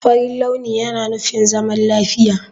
Farin launi yana nufin zaman lafiya.